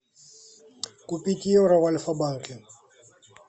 купить евро в альфабанке